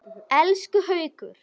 Elsku Haukur!